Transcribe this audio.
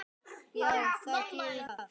Já, það gerir það.